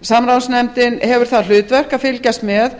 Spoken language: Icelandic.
samráðsnefndin hefur það hlutverk að fylgjast með